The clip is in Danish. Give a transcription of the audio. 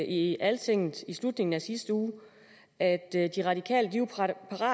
i altinget i slutningen af sidste uge at de radikale